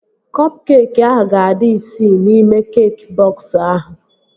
Kọp keekị ahụ ga-adị isii n'ime keekị bọks ahụ